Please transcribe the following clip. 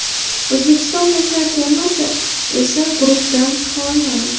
O‘zbekiston yoshlar termasi esa guruhdan chiqa olmadi.